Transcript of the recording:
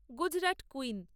Gujarat queen